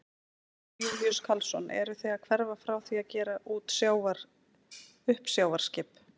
Jón Júlíus Karlsson: Eruð þið að hverfa frá því að gera út uppsjávarskip?